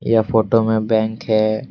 यह फोटो में बैंक है।